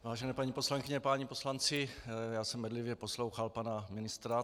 Vážené paní poslankyně, páni poslanci, já jsem bedlivě poslouchal pana ministra.